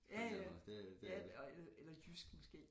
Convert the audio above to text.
Ja ja ja og eller jysk måske